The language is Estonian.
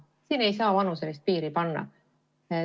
Siin ei saa vanuselist piiri tõmmata.